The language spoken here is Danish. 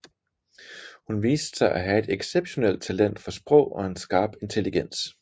Hun viste sig at have et exceptionelt talent for sprog og en skarp intelligens